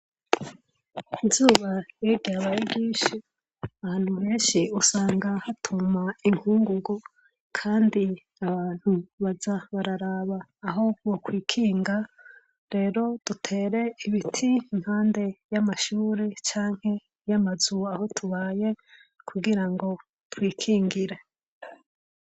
Izuba iyo ryabaye ryinshi ahantu henshi usanga hatuma inkungugu, kandi abantu baza bararaba aho bokwikinga. Rero dutere ibiti impande y'amashure canke y'amazu aho tubaye kugira ngo twikingire.